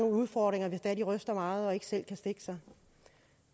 udfordringer hvis det er de ryster meget og ikke selv kan stikke sig